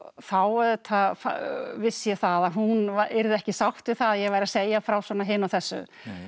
þá auðvitað vissi ég það að hún yrði ekki sátt við það að ég væri að segja frá svona hinu og þessu